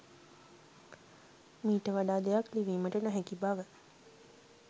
මීට වඩා දෙයක් ලිවීමට නොහැකි බව